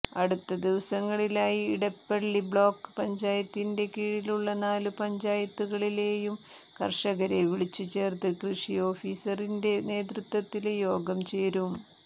അടുത്ത ദിവസങ്ങളിലായി ഇടപ്പള്ളി ബ്ലോക്ക് പഞ്ചായത്തിന്റെ കീഴിലുള്ള നാലു പഞ്ചായത്തുകളിലെയും കര്ഷകരെ വിളിച്ചുചേര്ത്ത് കൃഷി ഓഫീസറിന്റെ നേതൃത്വത്തില് യോഗം ചേരും